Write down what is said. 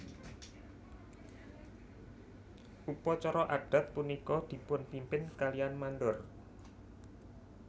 Upacara adat punika dipunpimpin kalian mandor